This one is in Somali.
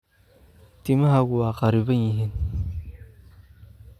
Timahaagu waa kharriban yihiin.